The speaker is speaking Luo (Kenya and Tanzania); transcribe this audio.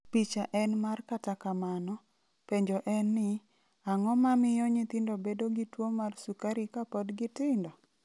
Picha en mar Kata kamano, penjo en ni, Ang'o mamiyo nyithindo bedo gi tuwo mar sukari kapod gitindo?